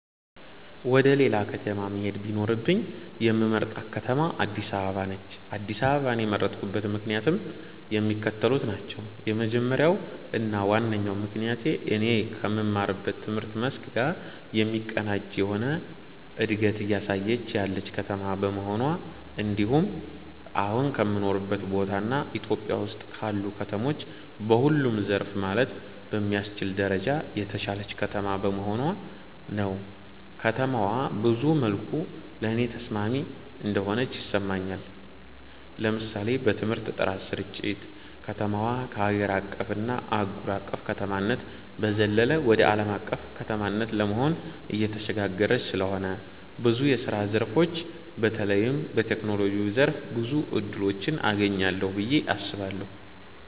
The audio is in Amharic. ወደ ሌላ ከተማ መሄድ ቢኖርብኝ የምመርጣት ከተማ አድስ አበባ ነች። አድስ አበባን የመረጥኩበት ምክንያትም የሚከተሉት ናቸው። የመጀመሪያው እና ዋነኛው ምክንያቴ እኔ ከምማረው ትምህርት መስክ ጋር የሚቀናጅ የሆነ እንደገት እያሳየች ያለች ከተማ በመሆኗ እንድሁም አሁን ከምኖርበት ቦታ እና ኢትዮጵያ ውስጥ ካሉ ከተሞች በሁሉም ዘርፍ ማለት በሚያስችል ደረጃ የተሻለች ከተማ በመሆኗ ነው። ከተማዋ ብዙ መልኩ ለኔ ተስማሚ እንደሆነች ይሰማኛል። ለምሳሌ በትምህርት ጥራት ስርጭት፣ ከተማዋ ከሀገር አቀፍ እና አህጉር አቅፍ ከተማነት በዘለለ ወደ አለም አቀፍ ከተማነት ለመሆን እየተሸጋገረች ስለሆነ ብዙ የስራ ዘርፎች በተለይም በቴክኖሎጂው ዘርፍ ብዙ እድሎችን አገኛለሁ ብየ አስባለሁ።